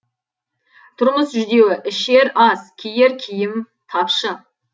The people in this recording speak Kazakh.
тұрмыс жүдеу ішер ас киер киім тапшы